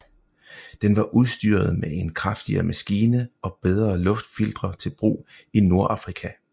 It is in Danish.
Den var udstyret med en kraftigere maskine og bedre luftfiltre til brug i Nordafrika